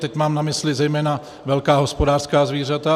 Teď mám na mysli zejména velká hospodářská zvířata